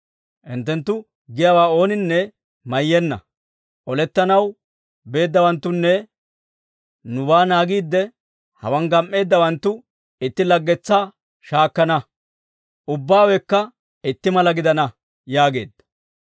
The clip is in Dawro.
Hinttenttu giyaawaa ooninne mayyenna. Olettanaw beeddawanttunne nubaa naagiidde hawaan gam"eeddawanttu itti laggetsaa shaakkana; ubbaawekka itti mala gidana» yaageedda.